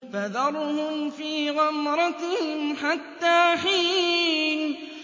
فَذَرْهُمْ فِي غَمْرَتِهِمْ حَتَّىٰ حِينٍ